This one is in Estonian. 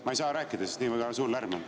Ma ei saa rääkida, sest nii suur lärm on.